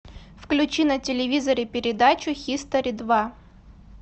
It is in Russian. включи на телевизоре передачу хистори два